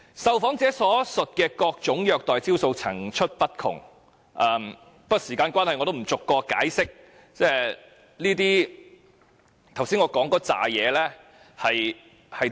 受訪者所述的各種虐待招數層出不窮，不過由於時間關係，我也不逐一解釋我剛才提及的體罰招數是甚麼。